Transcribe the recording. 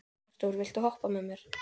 Arthúr, viltu hoppa með mér?